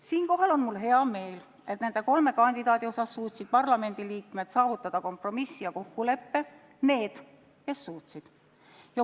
Siinkohal on mul hea meel, et nende kolme kandidaadi osas suutsid parlamendiliikmed saavutada kompromissi ja kokkuleppe – need, kes suutsid.